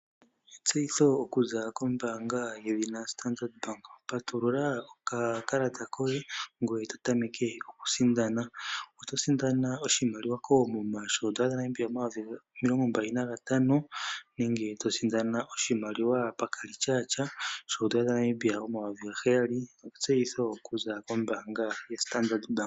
Etseyitho okuza kombaanga yedhina Standard Bank. Patulula okakalata koye e to tameke okusindana. Oto sindana oshimaliwa koomuma shooN$ 25 000 nenge to sindana ethimbo lyokongodhi lyooN$ 7 000. Etseyitho okuza kombaanga yoStandard Bank.